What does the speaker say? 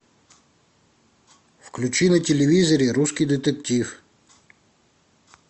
включи на телевизоре русский детектив